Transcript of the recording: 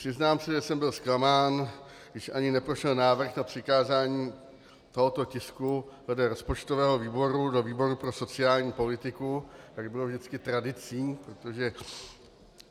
Přiznám se, že jsem byl zklamán, když ani neprošel návrh na přikázání tohoto tisku vedle rozpočtového výboru do výboru pro sociální politiku, jak bylo vždycky tradicí, protože